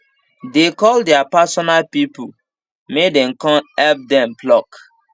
dey call their personal people may den con help dem pluck